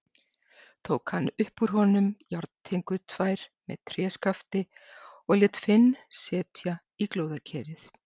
Tók hann upp úr honum járntengur tvær með tréskafti og lét Finn setja í glóðarkerið.